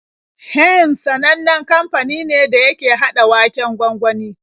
Heinz sanannen kamfani ne da yake haɗa waken gwangwani.